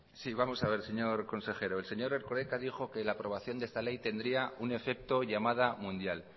sí vamos a ver señor consejero el señor erkoreka dijo que la aprobación de esta ley tendría un efecto llamada mundial